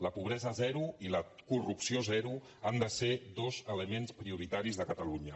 la pobresa zero i la corrupció zero han de ser dos elements prioritaris de catalunya